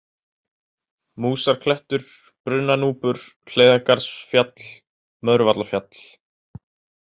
Músarklettur, Brunnanúpur, Hleiðargarðsfjall, Möðruvallafjall